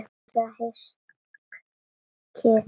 Meira hyskið!